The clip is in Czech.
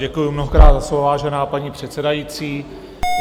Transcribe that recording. Děkuju mnohokrát za slovo, vážená paní předsedající.